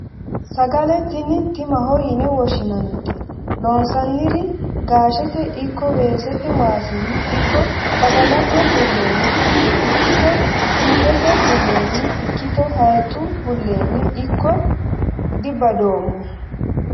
Sagale tini timaho yine woshshinannite loonsonniri gaashete ikko weesete waasinni ikko badalate bulenni ikkitto sindete buleni ikkitto hayixu bulenni ikkitto dibadoommo.